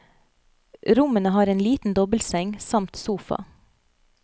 Rommene har en liten dobbeltseng samt sofa.